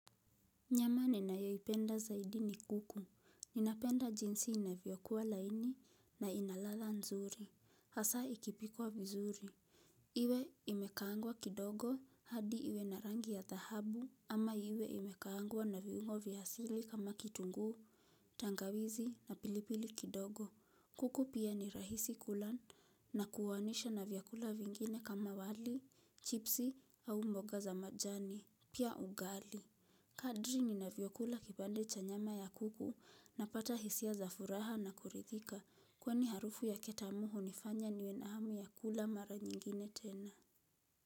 Nyama ninayoipenda zaidi ni kuku, ninapenda jinsi inavyokuwa laini na ina ladha nzuri, hasa ikipikuwa vizuri. Iwe imekaangwa kidogo hadi iwe na rangi ya dhahabu ama iwe imekaangwa na viungo vya asili kama kitunguu, tangawizi na pilipili kidogo. Kuku pia ni rahisi kula nakulanisha na vyakula vingine kama wali, chipsi au mboga za majani, pia ugali. Kadri ninavyokula kipande cha nyama ya kuku napata hisia za furaha na kuridhika. Kwani harufu yake tamu hunifanya niwe na hamu ya kula mara nyingine tena.